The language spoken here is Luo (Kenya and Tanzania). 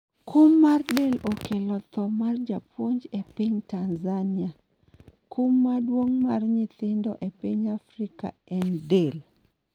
kum mar del okelo tho mar japuonj e piny Tanzania ,kum maduong' mar nyithindo e piny Afrika en del